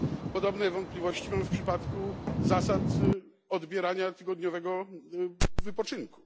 Podobne wątpliwości mam w przypadku zasad odbierania tygodniowego wypoczynku.